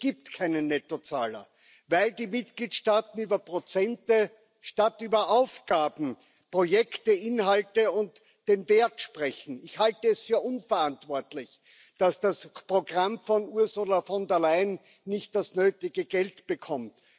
Es gibt keine Nettozahler, weil die Mitgliedstaaten über Prozente statt über Aufgaben, Projekte, Inhalte und den Wert sprechen. Ich halte es für unverantwortlich, dass das Programm von Ursula von der Leyen nicht das nötige Geld bekommt.